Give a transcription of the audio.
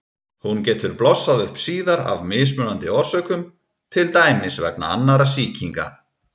Hún getur blossað upp síðar af mismunandi orsökum, til dæmis vegna annarra sýkinga.